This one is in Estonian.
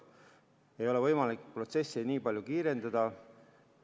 Ei ole võimalik protsessi nii palju kiirendada.